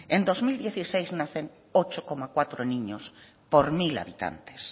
en dos mil dieciséis nacen ocho coma cuatro niños por mil habitantes